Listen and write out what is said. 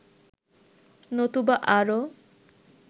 নতুবা আরও